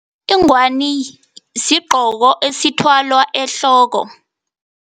Ingwani sigqoko esithwalwa ehloko.